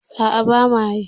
A'a bama yi.